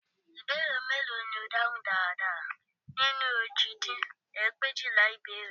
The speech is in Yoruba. Ìbéèrè mélòó ni o dáhùn dáradára nínú òjì dín ní ẹgbẹ̀éjìlá ìbéèrè